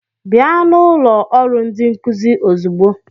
Bịa na ụlọ ọrụ ndi nkuzi ozugbo!